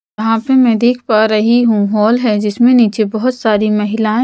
यहाँ पे मैं देख पा रही हूं हॉल है जिसमें नीचे बहुत सारी महिलाएं--